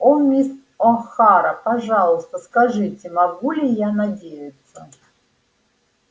о мисс охара пожалуйста скажите могу ли я надеяться